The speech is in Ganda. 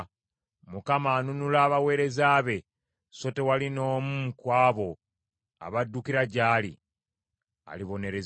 Mukama anunula abaweereza be; so tewali n’omu ku abo abaddukira gy’ali alibonerezebwa.